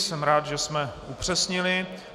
Jsem rád, že jsme upřesnili.